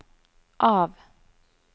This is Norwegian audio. av